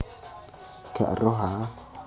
Gak eruh a